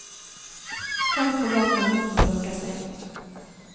Gang på gang må hunden lokkes inn.